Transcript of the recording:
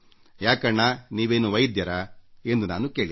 ಯಾಕಣ್ಣಾ ನೀವೇನು ವೈದ್ಯರೇ ಎಂದು ನಾನು ಕೇಳಿದೆ